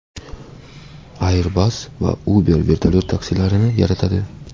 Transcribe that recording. Airbus va Uber vertolyot taksilarini yaratadi.